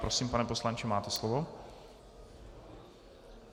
Prosím, pane poslanče, máte slovo.